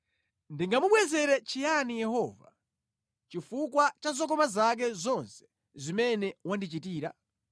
Ndingamubwezere chiyani Yehova, chifukwa cha zokoma zake zonse zimene wandichitira?